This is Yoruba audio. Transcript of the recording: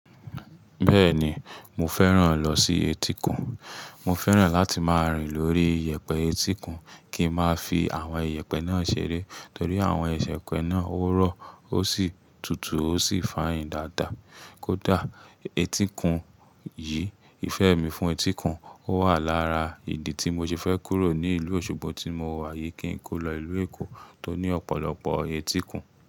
Bẹ́ẹ̀ni, mo fẹ́ràn lọ sí etíkun. Mo fẹ́ràn láti máa rìn lórí iyẹ̀pẹ̀ etíkun kí n máa fi àwọn iyẹ̀pẹ̀ náà ṣeré torí àwọn iyẹ̀pẹ̀ náà ò rọ̀ ó sì tutù ó sì fine dáadáa. Kódà etíkun yìí, ìfẹ́ mi fún etíkun ó wà lára ìdí tí mo ti fẹ́ kúrò ní ìlú Òṣogbo tí mo wà yìí kí n kó lọ ìlú Èkó tó ní ọ̀pọ̀lọpọ̀ etíkun.